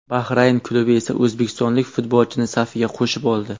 Bahrayn klubi esa o‘zbekistonlik futbolchini safiga qo‘shib oldi.